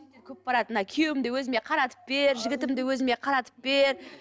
көп барады мына күйеуімді өзіме қаратып бер жігітімді өзіме қаратып бер